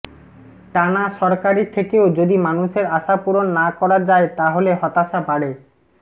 টানা সরকারে থেকেও যদি মানুষের আশা পূরণ না করা যায় তাহলে হতাশা বাড়ে